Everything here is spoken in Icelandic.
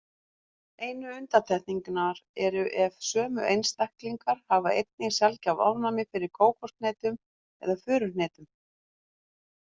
Einu undantekningarnar eru ef sömu einstaklingar hafa einnig sjaldgæft ofnæmi fyrir kókoshnetum eða furuhnetum.